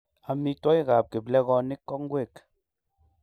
amitwogikab kiplekonik ko ngwek